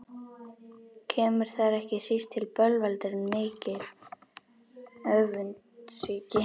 Kemur þar ekki síst til bölvaldurinn mikli, öfundsýki.